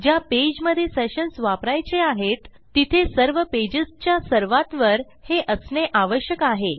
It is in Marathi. ज्या पेजमधे सेशन्स वापरायचे आहेत तिथे सर्व पेजस च्या सर्वात वर हे असणे आवश्यक आहे